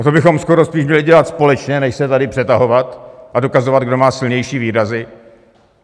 A to bychom skoro spíš měli dělat společně, než se tady přetahovat a dokazovat, kdo má silnější výrazy.